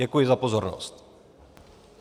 Děkuji za pozornost.